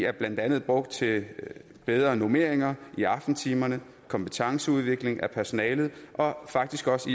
er blandt andet brugt til bedre normeringer i aftentimerne kompetenceudvikling af personalet og faktisk også